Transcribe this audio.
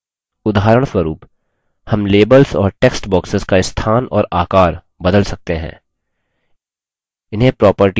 उदाहरणस्वरुप हम labels और text boxes का स्थान और आकर बदल सकते हैं